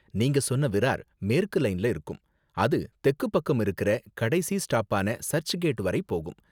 நீங்க சொன்ன விரார் மேற்கு லைன்ல இருக்கும், அது தெக்கு பக்கம் இருக்குற கடைசி ஸ்டாப்பான சர்ச் கேட் வரை போகும்.